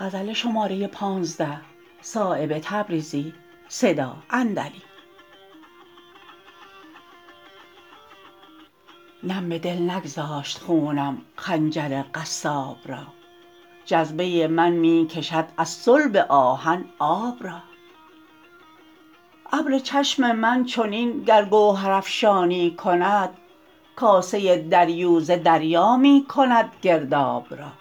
نم به دل نگذاشت خونم خنجر قصاب را جذبه من می کشد از صلب آهن آب را ابر چشم من چنین گر گوهر افشانی کند کاسه دریوزه دریا میکند گرداب را